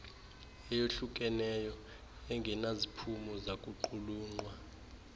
eyohlukeneyo engenaziphumo zakuqulunqwa